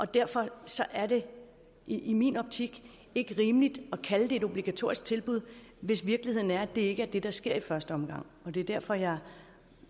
derfor er det i i min optik ikke rimeligt at kalde det et obligatorisk tilbud hvis virkeligheden er at det ikke er det der sker i første omgang det er derfor jeg